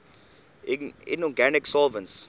inorganic solvents